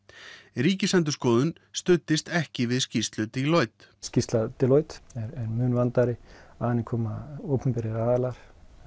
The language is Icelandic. Ríkisendurskoðun studdist ekki við skýrslu Deloitte skýrsla Deloitte er mun vandaðri að henni koma opinberir aðilar